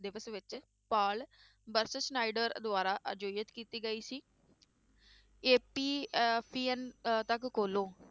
ਦਿਵਸ ਵਿੱਚ ਪਾਲ ਦੁਆਰਾ ਆਯੋਜਿਤ ਕੀਤੀ ਗਈ ਸੀ ਏਪੀ ਅਹ ਤੱਕ ਖੋਲੋ